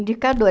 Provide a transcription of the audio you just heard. Indicador.